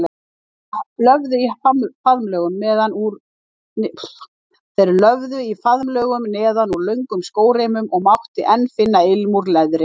Þeir löfðu í faðmlögum neðan úr löngum skóreimum og mátti enn finna ilm úr leðri.